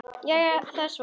Jæja, er það svo?